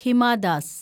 Hima Das